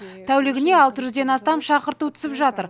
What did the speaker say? тәулігіне алты жүзден астам шақырту түсіп жатыр